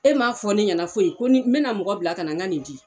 E ma fɔ ne ɲɛna foyi ko ni be na mɔgɔ bila ka na n ka nin di.